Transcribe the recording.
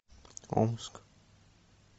омск